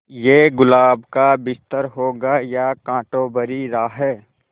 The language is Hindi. ये गुलाब का बिस्तर होगा या कांटों भरी राह